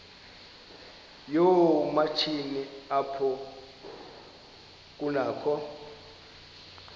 yoomatshini apho kunakho